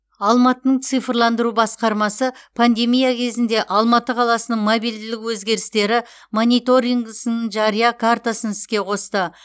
алматының цифрландыру басқармасы пандемия кезінде алматы қаласының мобильділік өзгерістері мониторингісінің жария картасын іске қосты